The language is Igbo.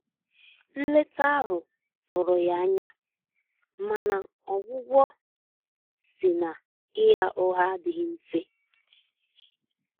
nleta ahụ tụrụ ya anyamana ọgwugwọ si na ịgha ụgha adighi mfe.